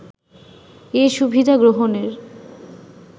এ সুবিধা গ্রহণের